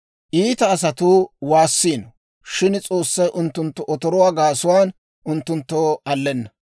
Iita asatuu waassiino; shin S'oossay unttunttu otoruwaa gaasuwaan, unttunttoo allenna.